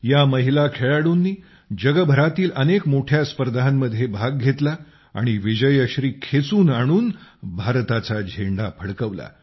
या महिला खेळाडूंनी जगभरातील अनेक मोठ्या स्पर्धांमध्ये भाग घेतला आणि विजयश्री खेचून आणून भारताचा झेंडा फडकवला